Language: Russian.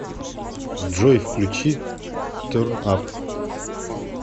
джой включи терн ап